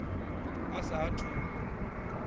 a sa a thu u